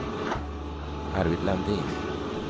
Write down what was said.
Arvid Landin